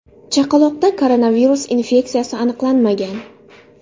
Chaqaloqda koronavirus infeksiyasi aniqlanmagan).